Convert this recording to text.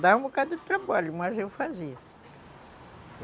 Dava um bocado de trabalho, mas eu fazia.